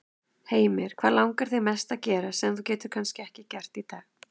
Heimir: Hvað langar þig mest að gera, sem þú getur ekki gert kannski í dag?